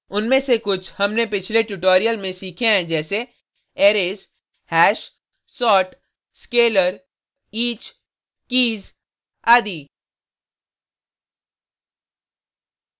उनमें से कुछ हमने पिछले ट्यूटोरियल में सीखे हैं जैसे arrays hash sort scalar each keys आदि